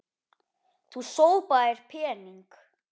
Þú sópaðir pening.